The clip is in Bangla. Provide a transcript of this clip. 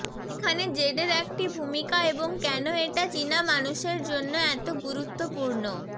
এখানে জেডের একটি ভূমিকা এবং কেন এটা চীনা মানুষের জন্য এত গুরুত্বপূর্ণ